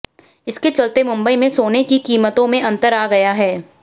इसके चलते मुंबई में सोने की कीमतों में अंतर आ गया है